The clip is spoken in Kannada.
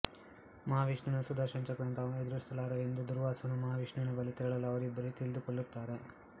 ಮಹಾವಿಷ್ಣುವಿನ ಸುದರ್ಶನ ಚಕ್ರವನ್ನು ತಾವು ಎದುರಿಸಲಾರೆವೆಂದೂ ದೂರ್ವಾಸನು ಮಹಾವಿಷ್ಣುವಿನ ಬಳಿ ತೆರಳಲು ಅವರಿಬ್ಬರೂ ತಿಳಿಹೇಳುತ್ತಾರೆ